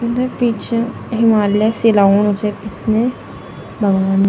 पीछे हिमालय सि लगणू छी इसमें --